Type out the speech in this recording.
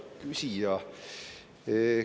Hea küsija!